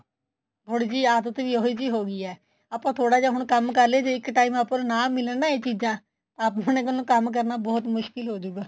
ਥੋੜੀ ਜੀ ਆਦਤ ਵੀ ਉਹੀ ਜੀ ਹੋ ਗਈ ਐ ਆਪਾਂ ਥੋੜਾ ਜਾ ਹੁਣ ਕੰਮ ਕਰ ਲੀਏ ਜੇ ਇੱਕ time ਆਪਾਂ ਨੂੰ ਨਾ ਮਿਲਣ ਨਾ ਇਹ ਚੀਜਾਂ ਤਾਂ ਆਪਾਂ ਨੂੰ ਕੰਮ ਕਰਨਾ ਬਹੁਤ ਮੁਸ਼ਕਿਲ ਹੋਜੂਗਾ